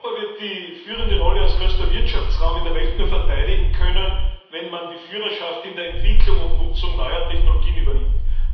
Europa wird die führende Rolle als größter Wirtschaftsraum in der Welt nur verteidigen können, wenn es die Führerschaft in der Entwicklung und Nutzung neuer Technologien übernimmt.